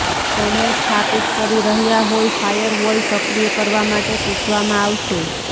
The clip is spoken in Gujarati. તમે સ્થાપિત કરી રહ્યા હોય ફાયરવોલ સક્રિય કરવા માટે પૂછવામાં આવશે